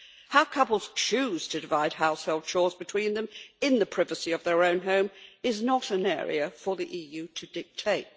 How couples choose to divide household chores between them in the privacy of their own home is not an area for the EU to dictate.